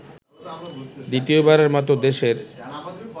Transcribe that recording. দ্বিতীয়বারের মতো দেশের